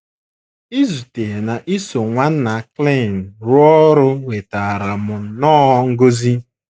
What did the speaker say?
Izute na iso Nwanna Klein rụọ ọrụ wetaara m nnọọ ngọzi!